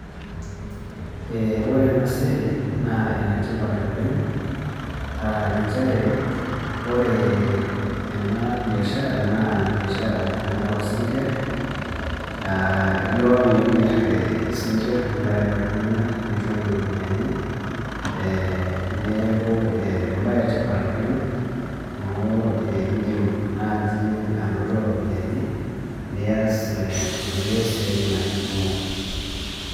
Ee ore ena siai naa enetipat oleng' nchere ore ena biashara naa biashara ena oosinkirr aa ilo nimirr isinkirr nimiraki iltung'anak nitum iropiyiani ee neeku embaye etipat oleng' amu iindim naaji anoto iropiyiani nias ee inkulie siaitin ake kumok.